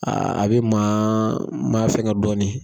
Aa a be maa ma fɛnkɛ dɔɔni